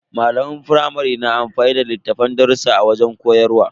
Malaman firamare na amfani da littafin darrusa a wajen koyarwa.